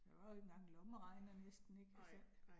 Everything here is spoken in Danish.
Der var jo ikke engang en lommeregner næsten ik altså